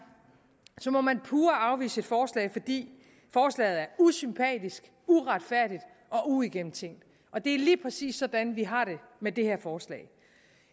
må man pure afvise et forslag fordi forslaget er usympatisk uretfærdigt og uigennemtænkt og det er lige præcis sådan vi har det med det her forslag